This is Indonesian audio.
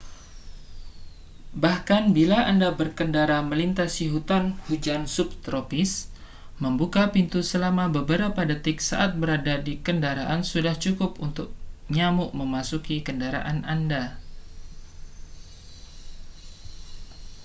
bahkan bila anda berkendara melintasi hutan hujan subtropis membuka pintu selama beberapa detik saat berada di kendaraan sudah cukup untuk nyamuk memasuki kendaraan anda